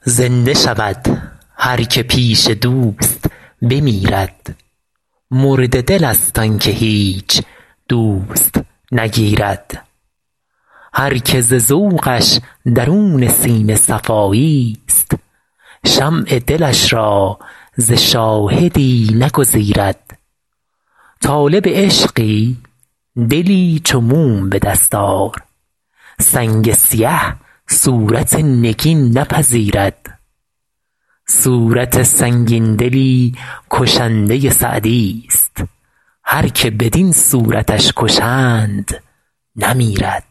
زنده شود هر که پیش دوست بمیرد مرده دلست آن که هیچ دوست نگیرد هر که ز ذوقش درون سینه صفاییست شمع دلش را ز شاهدی نگزیرد طالب عشقی دلی چو موم به دست آر سنگ سیه صورت نگین نپذیرد صورت سنگین دلی کشنده سعدیست هر که بدین صورتش کشند نمیرد